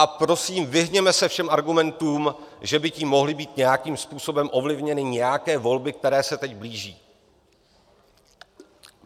A prosím, vyhněme se všem argumentům, že by tím mohly být nějakým způsobem ovlivněny nějaké volby, které se teď blíží.